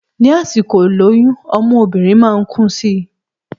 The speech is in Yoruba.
Ní àsìkò ìlóyún ọmú obìnrin máa ń kún si